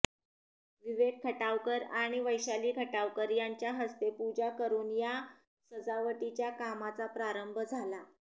विवेक खटावकर आणि वैशाली खटावकर यांच्या हस्ते पूजा करून या सजावटीच्या कामाचा प्रारंभ झाला